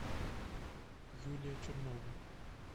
юлия чернова